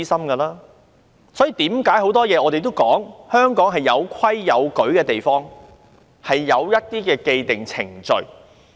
我們常說，香港是一個有規有矩的地方，很多事情均有既定程序。